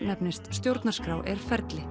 nefnist stjórnarskrá er ferli